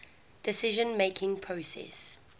decision making process